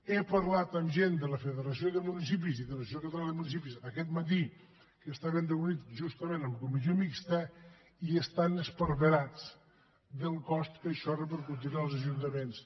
he parlat amb gent de la federació de municipis i de l’associació catalana de municipis aquest matí que estaven reunits justament en comissió mixta i estan esparverats del cost que això repercutirà als ajuntaments